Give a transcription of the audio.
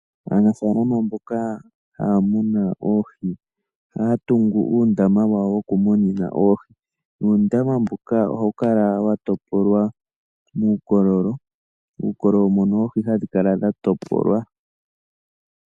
Aanafalama mboka haya munu oohi oha ya tungu uundama wawo wokumunina oohi nuundama mbuka oha wu kala wa topolwa muukololo, uukololo mono oohi hadhi kala dha topolwa.